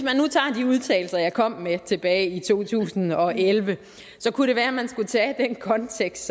kom med tilbage i to tusind og elleve så kunne det være at man skulle tage den kontekst